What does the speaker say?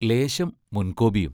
ലേശം മുൻകോപിയും.